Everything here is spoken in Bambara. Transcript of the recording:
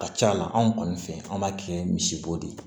Ka ca ala kɔni fɛ an b'a kɛ misibo de ye